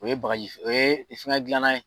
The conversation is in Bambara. O ye bagaji o ye fɛn dilanna ye.